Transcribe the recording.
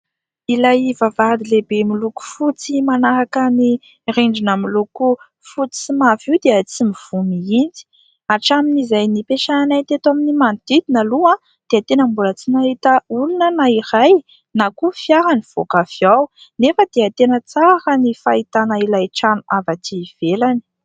Ilay vavahady lehibe miloko fotsy manaraka ny rindrina miloko: fotsy sy mavo io dia tsy mivoha mihitsy. Hatramin'izay nipetrahanay teto amin'ny manodidina aloha dia tena mbola tsy nahita olona aho na iray; na koa fiara mivoaka avy ao. Nefa dia tena tsara raha ny fahitana ilay trano avy aty ivelany.